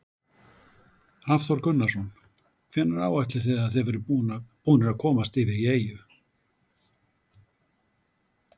Hafþór Gunnarsson: Hvenær áætlið þið að þið verðið búnir að komast yfir í eyju?